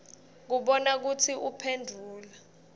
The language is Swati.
kubona kutsi uphendvula